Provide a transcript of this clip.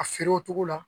A feere o togo la